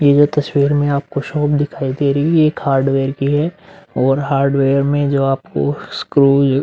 जो तस्वीर में आपको शॉप दिखाई दे रही है ये एक हार्डवेयर की है और हार्डवेयर में जो आपको स्क्रूस --